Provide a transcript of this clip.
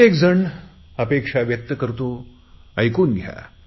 प्रत्येकजण अपेक्षा व्यक्त करतो ऐकून घ्या